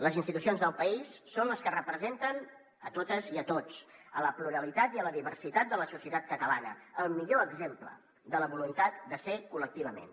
les institucions del país són les que representen totes i tots la pluralitat i la diversitat de la societat catalana el millor exemple de la voluntat de ser col·lectivament